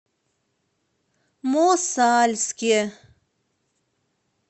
мосальске